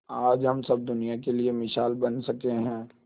आज हम सब दुनिया के लिए मिसाल बन सके है